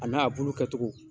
A n'a bulu kɛcogo